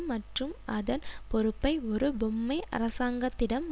மற்றும் அதன் பொறுப்பை ஒரு பொம்மை அரசாங்கத்திடம்